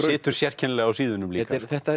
situr sérkennilega á síðunum líka